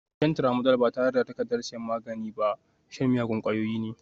Shan Tramadol ba tare da takardar sayan magani ba shan miyagun ƙwayoyi ne